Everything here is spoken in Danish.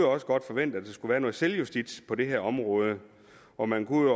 også godt forvente at der skulle være noget selvjustits på det her område og man kunne